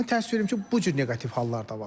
Mən təəssüf edirəm ki, bu cür neqativ hallar da var.